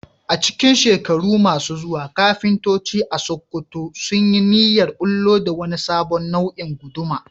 A cikin shekaru masu zuwa, kafintoci a Sakkwato sun yi niyyar bullo da wani sabon nau'in guduma